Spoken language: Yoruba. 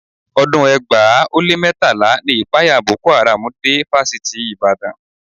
Ọdún ẹgbàá ó lé mẹ́tàlá ni ìpayà Boko Haram dé Fásitì Ìbàdàn